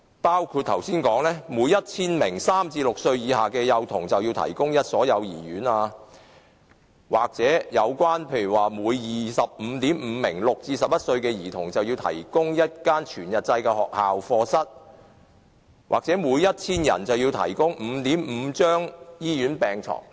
相關標準包括每 1,000 名3至6歲以下的幼童要有1所幼兒園，每 25.5 名6至11歲的兒童要有1間全日制學校課室，每 1,000 人要有 5.5 張醫院病床。